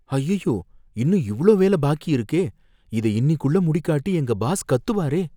அய்யய்யோ, இன்னும் இவ்ளோ வேல பாக்கி இருக்கே! இத இன்னிக்குள்ள முடிக்காட்டி எங்க பாஸ் கத்துவாரே!